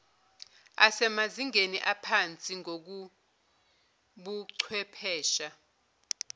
asemazingeni aphansi ngokobuchwephesha